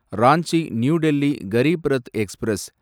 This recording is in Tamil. Ranchi New Delhi Garib Rath express